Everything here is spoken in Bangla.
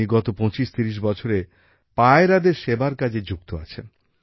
তিনি গত ২৫৩০ বছরে পায়রাদের সেবার কাজে যুক্ত আছেন